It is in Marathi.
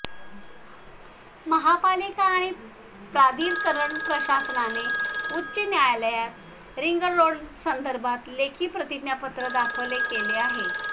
महापालिका आणि प्राधिकरण प्रशासनाने उच्च न्यायालयात रिंगरोडसंदर्भात लेखी प्रतिज्ञापत्र दाखल केले आहे